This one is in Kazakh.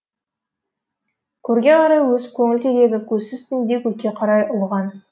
көрге қарай өсіп көңіл терегі көзсіз түнде көкке қарай ұлыған